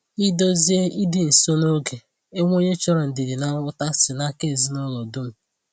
Ị̀dòzie ìdị nso na ògè onwe onye chọrọ ndidi na nghọ̀ta si n’aka ezinụlọ dum.